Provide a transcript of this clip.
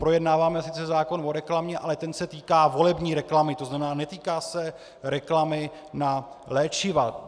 Projednáváme sice zákon o reklamě, ale ten se týká volební reklamy, to znamená, netýká se reklamy na léčiva.